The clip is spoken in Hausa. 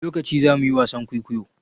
Wani lokaci zamu yi wasan kuikuyo?